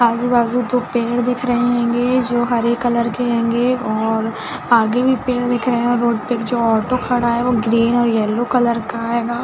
आजु बाजु दो पेड़ दिख रहे होगे जो हरे कलर के होगे और आगे भी पेड़ दिख रहे है रोड पे कुछ ऑटो खड़ा है वो ग्रीन और येलो कलर का होगा।